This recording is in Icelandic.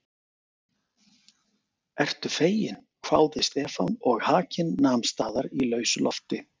Ertu feginn? hváði Stefán og hakinn nam staðar í lausu lofti.